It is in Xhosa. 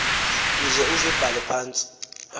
uze uzibhale phantsi